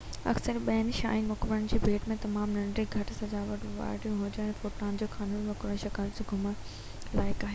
اڪثر ٻين شاهي مقبرن جي ڀيٽ ۾ تمام ننڍڙو ۽ گهٽ سجاوٽ وارو هجڻ ڪري ٽوٽان خامون جو مقبرو مشڪل سان ئي گهمڻ لائق آهي